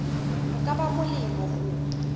ho ka ba molemo ho